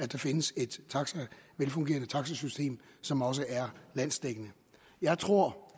der findes et velfungerende taxasystem som også er landsdækkende jeg tror